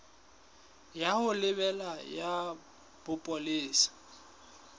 ya ho lebela ya bopolesa